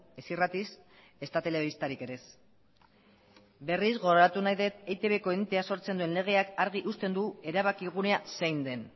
ez irratiz ezta telebistatik ere ez berriz gogoratu nahi dut eitbko entea sortzen duen legeak argi uzten duela erabakigunea zein den